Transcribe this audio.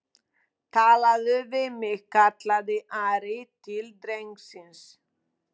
talaðu við mig, kallaði Ari til drengsins.